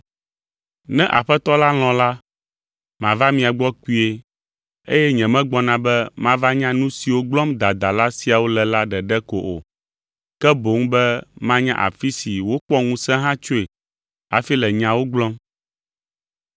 Ne Aƒetɔ la lɔ̃ la, mava mia gbɔ kpuie eye nyemegbɔna be mava nya nu siwo gblɔm dadala siawo le la ɖeɖe ko o, ke boŋ be manya afi si wokpɔ ŋusẽ hã tsoe hafi le nyawo gblɔm.